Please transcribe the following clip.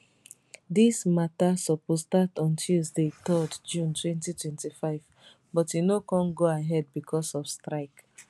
dis mata suppose start on tuesday 3 june 2025 but e no kon go ahead becos of strike